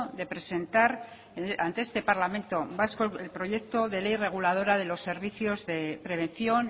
de presentar ante este parlamento vasco el proyecto de ley reguladora de los servicios de prevención